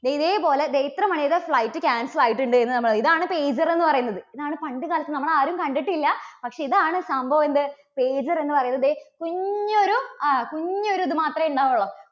ദേ ഇതേ പോലെ ദേ ഇത്ര മണിയുടെ flight cancel ആയിട്ടുണ്ട് എന്ന് നമ്മൾ പറയും. ഇതാണ് pager എന്ന് പറയുന്നത്. ഇതാണ് പണ്ട് കാലത്ത്, നമ്മൾ ആരും കണ്ടിട്ടില്ല പക്ഷേ ഇതാണ് സംഭവം എന്ത് pager എന്നുപറയുന്നത് കുഞ്ഞൊരു ആ കുഞ്ഞൊരു ഒരു ഇതു മാത്രമേ ഉണ്ടാവുകയുള്ളൂ.